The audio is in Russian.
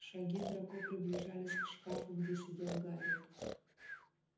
шаги драко приближались к шкафу где сидел гарри